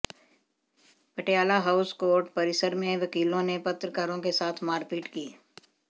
Patiala House Court परिसर में वकीलों ने पत्रकारों के साथ मारपीट की